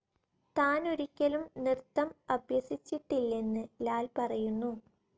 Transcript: താൻ ഒരിക്കലും നൃത്തം അഭ്യസിച്ചിട്ടില്ലെന്ന് ലാൽ പറയുന്നു.